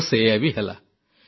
ଆଉ ସେଇଆ ବି ହେଲା